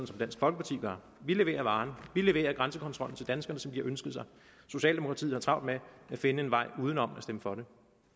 som dansk folkeparti gør vi leverer varen vi leverer grænsekontrollen til danskerne som de har ønsket sig socialdemokratiet har travlt med at finde en vej uden om at stemme for det